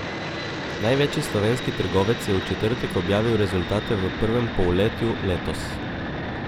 Največji slovenski trgovec je v četrtek objavil rezultate v prvem polletju letos.